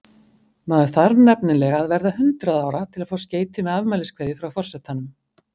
Maður þarf nefnilega að verða hundrað ára til að fá skeyti með afmæliskveðju frá forsetanum.